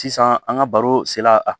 Sisan an ka baro sela a